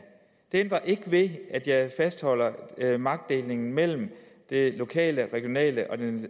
det ændrer ikke ved at jeg fastholder magtdelingen mellem det lokale regionale og